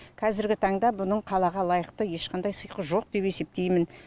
қазіргі таңда бұның қалаға лайықты ешқандай сиқы жоқ деп есептеймін